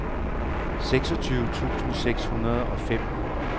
seksogtyve tusind seks hundrede og fem